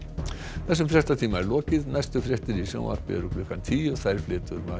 þessum fréttatíma er lokið næstu fréttir í sjónvarpi eru klukkan tíu þær flytur María